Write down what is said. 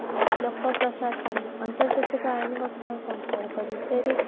ଲୋକ ପ୍ରଶାସନ ଅନ୍ତର୍ଜାତିକ ଅଇନି ଗଠନ ସମ୍ପର୍କ ବିଷୟରେ